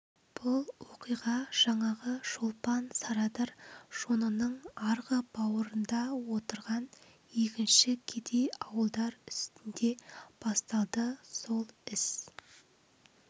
бұл оқиға жаңағы шолпан сарадыр жонының арғы бауырында отырған егінші кедей ауылдар үстінде басталды сол іс